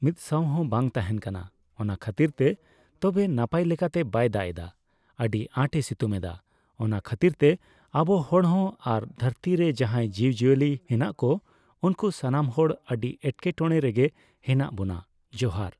ᱢᱤᱛᱥᱟᱣ ᱦᱚᱸ ᱵᱟᱝ ᱛᱟᱦᱮᱱ ᱠᱟᱱᱟ ᱾ ᱚᱱᱟ ᱠᱷᱟᱹᱛᱤᱨ ᱛᱮ ᱛᱚᱵᱮ ᱱᱟᱯᱟᱤ ᱞᱮᱠᱟᱛᱮ ᱵᱟᱭ ᱫᱟᱜ ᱮᱫᱟ, ᱟᱹᱰᱤ ᱟᱸᱴᱮᱭ ᱥᱤᱛᱩᱝ ᱮᱫᱟ ᱾ ᱚᱱᱟ ᱠᱷᱟᱹᱛᱤᱨ ᱛᱮ ᱟᱵᱚ ᱦᱚᱲ ᱦᱚᱸ ᱟᱨ ᱫᱷᱟᱹᱨᱛᱤ ᱨᱮ ᱡᱟᱦᱟᱸᱭ ᱡᱤᱵ ᱡᱤᱭᱟᱹᱞᱤ ᱦᱮᱱᱟᱜ ᱠᱚ, ᱩᱱᱠᱩ ᱥᱟᱱᱢ ᱦᱚᱲ ᱟᱹᱰᱤ ᱮᱴᱠᱮᱴᱚᱬᱮ ᱨᱮᱜᱮ ᱦᱮᱱᱟᱜ ᱵᱚᱱᱟ᱾ ᱡᱚᱦᱟᱨ ᱾